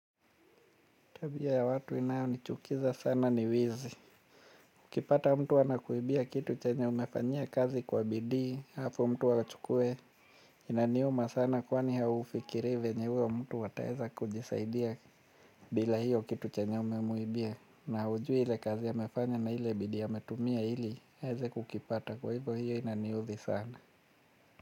Tabia ya watu inayo ni chukiza sana ni wizi. Ukipata mtu anakuibia kitu chenye umefanyia kazi kwa bidii, alafu mtu achukuwe, inaniuma sana kwani haufikiri venye huyo mtu ataweza kujisaidia bila hiyo kitu chenye umemuibia. Na haujui ile kazi amefanya na ile bidii ametumia ili, aweze kukipata kwa hivyo hiyo inaniudhi sana.